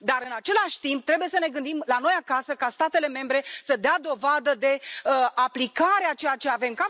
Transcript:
Dar, în același timp, trebuie să ne gândim ca, la noi acasă, statele membre să dea dovadă de aplicarea a ceea ce avem.